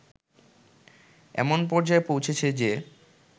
এমন পর্যায়ে পৌঁছেছে যে